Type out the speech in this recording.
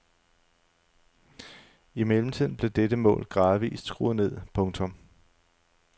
I mellemtiden blev dette mål gradvist skruet ned. punktum